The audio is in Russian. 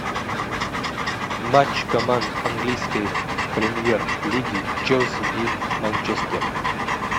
матч команд английской премьер лиги челси и манчестер